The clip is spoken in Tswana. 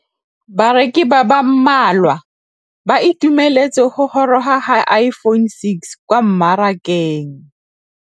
Bareki ba ba malwa ba ituemeletse go gôrôga ga Iphone6 kwa mmarakeng.